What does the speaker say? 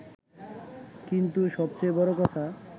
কিন্তু সবচেয়ে বড় কথা